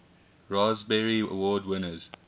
raspberry award winners